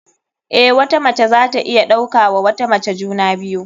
Eh, wata mace zata iya ɗauka wa wata mace juna biyu.